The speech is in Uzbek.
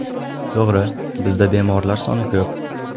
To‘g‘ri, bizda bemorlar soni ko‘p.